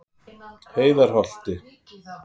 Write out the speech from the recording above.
Heiðarholti